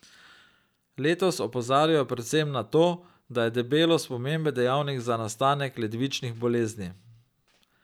Letos opozarjajo predvsem na to, da je debelost pomemben dejavnik za nastanek ledvičnih bolezni.